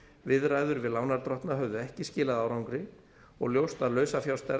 viðræður við lánardrottna höfðu ekki skilað árangri og ljóst að lausafjárstaða